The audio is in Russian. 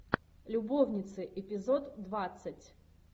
любовница эпизод двадцать